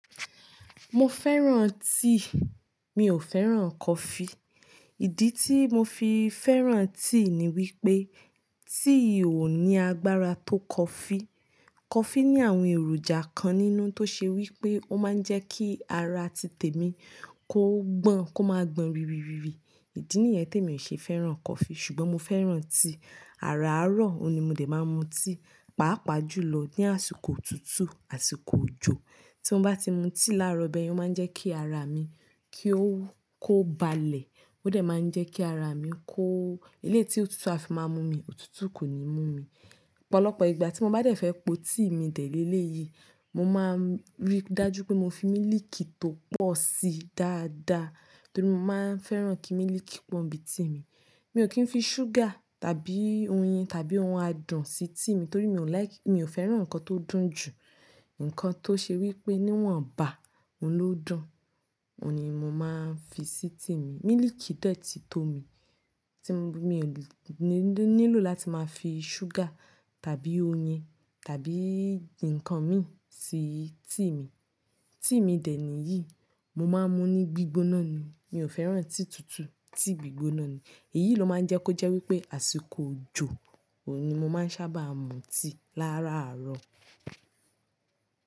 Mo fẹ́ràn tíì, mi ò fẹ́ràn coffee. Ìdí tí mo fi fẹ́ràn tíì ni wípé tíì ò ní agbára tó coffee. Coffee ní àwọn èròjà kan nínú tó ṣe wípé ó má ń jẹ́ kí ara ti tèmi kó gbọ̀n, kó máa gbọn rìrì rìrì. Ìdí nìyẹn tí èmi ṣe fẹ́ràn coffee ṣùgbọ́n mo fẹ́ràn tíì. Áràárọ̀, òun ni mo dè máa ń mu tíì. Pàápàá jùlọ ní àsìkò òtútù, àsìkò òjò. Tí mo bá ti mu tíì láàárọ̀ bẹ́ẹ̀, yóò máa ń jẹ́ kí ara mi kó balẹ̀. Ó dé máa ń jẹ́ kí ara mi kó elééti, òtútù a fi máa mú mi, òtútù kò ní mú mi. Ọ̀pọ̀lọpọ̀ ìgbà tí mo bá dẹ̀ fẹ́ po tíì mi dè lé léyìí, mo máa ń rí dájú pé mo fi mílíìkì tó pọ̀ síí dáadáa torí mo máa ń fẹ́ràn kí mílíìkì pọ̀n bíi tíì mi. Mi ò kí ń fi ṣúgà tàbí oyin tàbí ohun adùn sí tíì mi torí mi ò like-- mi ò fẹ́ràn nǹkan tó dùn jù. Ǹkan tó ṣe wípé níwọ̀n bá, òun ló dùn, òun ni mò máa ń fi sí tíì mi. Mílììkì dẹ́ẹ̀ tí tó mi, tí mo-- mi ò nílò láti máa fi ṣúgà tàbí oyin tàbí nǹkan mí sí tíì mi. Tíì mi dè níyìí, mo máa ń mu ní gbígbóná ni. Mi ò fẹ́ràn tíì tutù, tíì gbígbóná ni. Èyí ló máa ń jẹ́ kó jẹ́ wípé àsìkò òjò òun ni mò máa ń sábà mu tíì, láàrárọ̀.